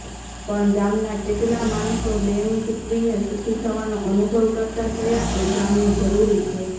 પણ ગામનાં કેટલા માણસો દેણું ચૂકવીને સુખી થવાનો અનુભવ કરતા થયા એ જાણવંુ જરૂરી છે